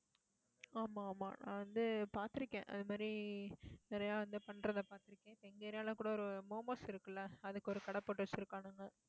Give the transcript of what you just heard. ஆமா, ஆமா நான் வந்து பார்த்திருக்கேன் அது மாதிரி நிறைய வந்து பண்றதை பார்த்திருக்கேன். எங்க area ல கூட ஒரு momos இருக்கு இல்லை அதுக்கு ஒரு கடை போட்டு வச்சிருக்கானுங்க